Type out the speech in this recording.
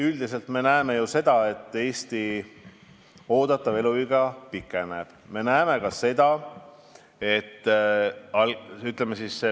Üldiselt me näeme ju seda, et oodatav eluiga Eestis pikeneb.